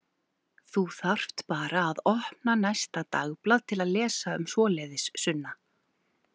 Þú þarft bara að opna næsta dagblað til að lesa um svoleiðis, Sunna.